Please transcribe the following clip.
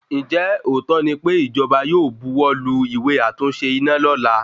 Ǹjẹ́ òótọ́ ní pé ìjọba yóò bu wọ́ lu ìwé àtúnṣe iná lọla